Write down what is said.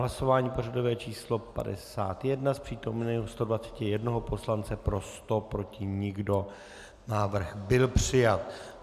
Hlasování pořadové číslo 51, z přítomných 121 poslance pro 100, proti nikdo, návrh byl přijat.